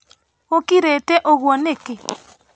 Gũkirĩte uguo nĩkĩ?